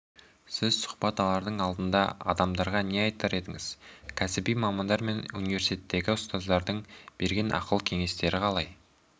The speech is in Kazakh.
сіз сұхбат алардың алдында адамдарға не айтар едіңіз кәсіби мамандар мен университеттегі ұстаздардың берген ақыл-кеңестерін қалай